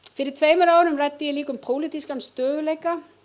fyrir tveimur árum ræddi ég líka um pólitískan stöðugleika